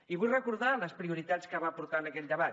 i vull recordar les prioritats que va aportar en aquell debat